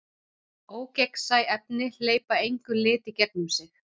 Ógegnsæ efni hleypa engum lit í gegnum sig.